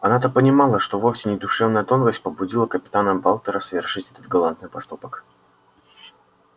она-то понимала что вовсе не душевная тонкость побудила капитана батлера совершить этот галантный поступок